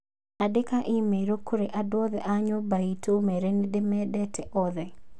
Andĩka i-mīrū kũrĩ andũ othe a nyumba itu ũmeere nĩ ndĩmendete othe